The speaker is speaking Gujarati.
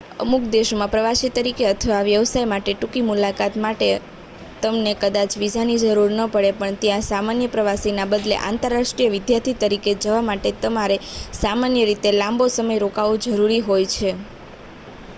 અમુક દેશોમાં પ્રવાસી તરીકે અથવા વ્યવસાય માટે ટૂંકી મુલાકાત માટે તમને કદાચ વિઝાની જરૂર ન પડે પણ ત્યાં સામાન્ય પ્રવાસીના બદલે આંતરરાષ્ટ્રીય વિદ્યાર્થી તરીકે જવા માટે તમારે સામાન્ય રીતે લાંબો સમય રોકાવું જરૂરી હોય છે